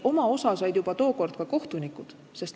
Oma osa said juba tookord ka kohtunikud.